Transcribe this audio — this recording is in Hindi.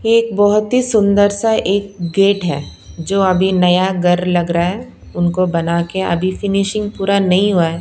एक बहुत ही सुंदर सा एक गेट हैजो अभी नया घर लग रहा है उनको बना के अभी फिनिशिंग पूरा नहीं हुआ है।